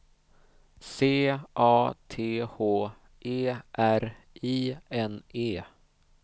C A T H E R I N E